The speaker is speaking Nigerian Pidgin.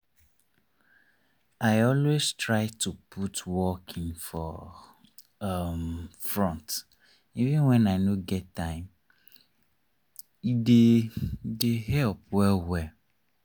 i always try to put walking for um front even when i no get time e dey dey help well well.